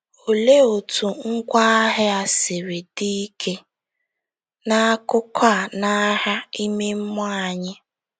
Olee otú ngwá agha siri dị ike n'akụkọ a n'agha ime mmụọ anyị?